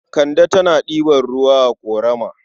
Kande tana ɗiba ruwa a ƙorama.